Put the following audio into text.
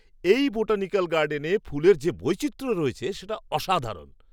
এই বোটানিক্যাল গার্ডেনে ফুলের যে বৈচিত্র্য রয়েছে সেটা অসাধারণ!